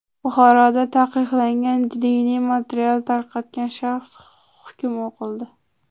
Buxoroda taqiqlangan diniy material tarqatgan shaxsga hukm o‘qildi.